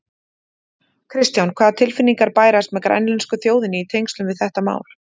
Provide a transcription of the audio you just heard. Kristján: Hvaða tilfinningar bærast með grænlensku þjóðinni í tengslum við þetta mál?